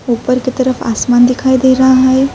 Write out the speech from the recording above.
اپر کی طرف آسمان دکھائی دے رہا ہے۔